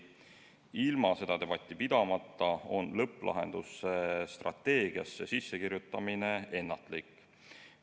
Ilma seda debatti pidamata on lõpplahenduse strateegiasse sissekirjutamine ennatlik.